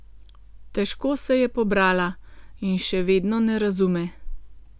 Težko se je pobrala in še vedno ne razume.